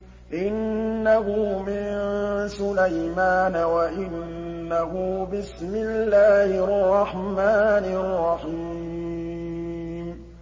إِنَّهُ مِن سُلَيْمَانَ وَإِنَّهُ بِسْمِ اللَّهِ الرَّحْمَٰنِ الرَّحِيمِ